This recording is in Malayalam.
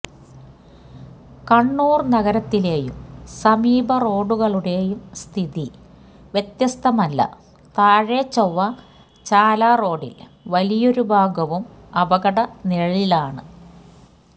കണ്ണൂര് നഗരത്തിലെയും സമീപ റോഡുകളുടെയും സ്ഥിതി വ്യത്യസ്തമല്ല താഴെചൊവ്വ ചാല റോഡില് വലിയൊരു ഭാഗവും അപകട നിഴലിലാണ്